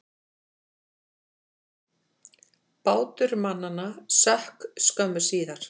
Bátur mannanna sökk skömmu síðar.